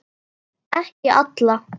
Ekki alla.